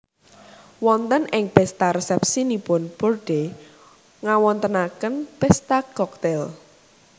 Wonten ing pèsta resèpsinipun Bourdais ngawontenaken pèsta koktail